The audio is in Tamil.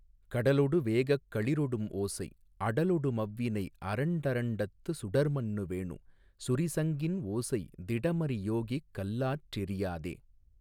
கடலொடு வேகக் களிறொடும் ஓசை அடலொடு மவ்வினை அண்டரண்டத்து சுடர்மன்னு வேணு சுரிசங்கின் ஓசை திடமறி யோகிக் கல்லாற்றெரியாதே.